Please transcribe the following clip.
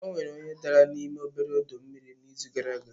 Onwere onye dara n'ime obere ọdọ mmiri n'izu gara aga